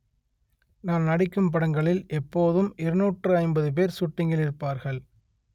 நான் நடிக்கும் படங்களில் எப்போதும் இருநூற்று ஐம்பது பேர் சூட்டிங்கில் இருப்பார்கள்